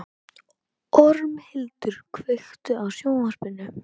Ormhildur, kveiktu á sjónvarpinu.